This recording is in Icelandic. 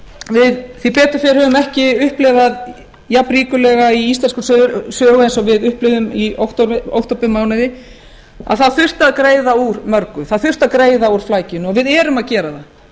við höfum ekki upplifað jafnríkulega í íslenskri sögu eins og við upplifðum í októbermánuði að það þurfti að greiða úr mörgu það þurfti að greiða úr flækjunni og við erum að gera það